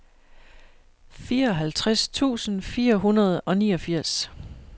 fireoghalvtreds tusind fire hundrede og niogfirs